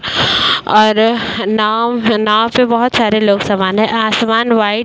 और नाव नाव पे बहोत सारे लोग सवान हैं। आसमान व्हाइट --